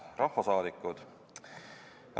Head rahvasaadikud!